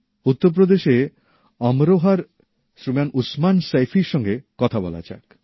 উত্তরপ্রদেশে অমরোহার শ্রীমান উসমান সৈফির সঙ্গে কথা বলা যাক